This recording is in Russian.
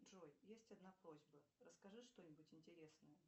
джой есть одна просьба расскажи что нибудь интересное